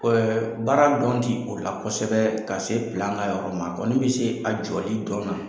baara dɔn ti o la kosɛbɛ ka se ka yɔrɔ ma kɔni bɛ se a jɔli dɔn na.